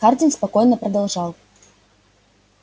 хардин спокойно продолжал